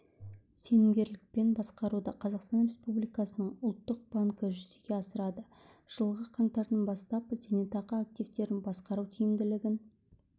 сенімгерлікпен басқаруды қазақстан республикасының ұлттық банкі жүзеге асырады жылғы қаңтардан бастап зейнетақы активтерін басқару тиімділігін